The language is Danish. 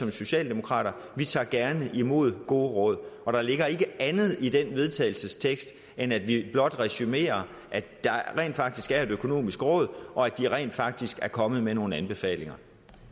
i socialdemokraterne vi tager gerne imod gode råd og der ligger ikke andet i det vedtagelse end at vi blot resumerer at der rent faktisk er et økonomisk råd og at de rent faktisk er kommet med nogle anbefalinger